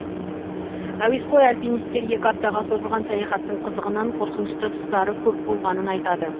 әуесқой альпинистер екі аптаға созылған саяхаттың қызығынан қорқынышты тұстары көп болғанын айтады